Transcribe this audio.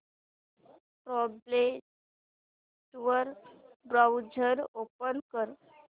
tablet वर browser open कर